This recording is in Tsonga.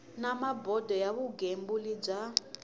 na bodo ya vugembuli bya